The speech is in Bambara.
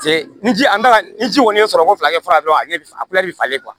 Paseke ni ji an bɛ ka ni ji kɔni ye sɔrɔko fila kɛ fura dɔrɔn ale bɛ falen